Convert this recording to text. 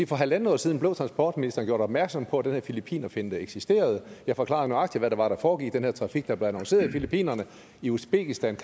for halvandet år siden blev transportministeren gjort opmærksom på at den her filippinerfinte eksisterede jeg forklarede nøjagtigt hvad det var der foregik i den her trafik der blev annonceret i filippinerne i uzbekistan